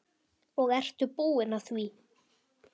Og ertu búin að því?